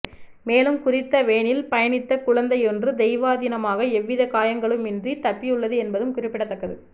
மேலும் குறித்த வேனில் பயணித்த குழந்தை ஒன்று தெய்வாதீனமாக எவ்வித காயங்களுமின்றி தப்பியுள்ளது என்பதும் குறிப்பிடத்தக்கது